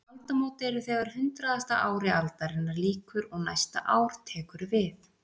Aldamót eru þegar hundraðasta ári aldarinnar lýkur og næsta ár tekur við.